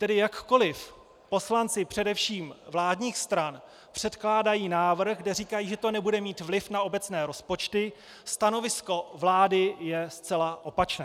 Tedy jakkoli poslanci především vládních stran předkládají návrh, kde říkají, že to nebude mít vliv na obecné rozpočty, stanovisko vlády je zcela opačné.